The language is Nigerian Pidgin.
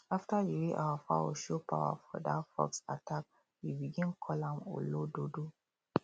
after the way our fowl show power for that fox attack we begin call am olododo